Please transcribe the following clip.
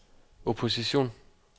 opposition